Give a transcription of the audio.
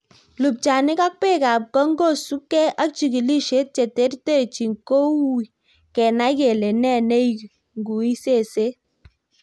Lupchanik ak bek ab kong' kosupke ak chigilisiet che terterchin, koui kenae kele ne neing'ui seset.